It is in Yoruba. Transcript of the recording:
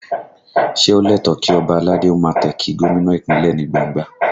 Ṣé ó lẹ́tọ̀ọ̀ kí ọba aládé ó máa tẹ̀ kí gómìnà Ìpínlẹ̀ ní gbangba?